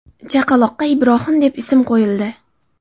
Chaqaloqqa Ibrohim deb ism qo‘yildi.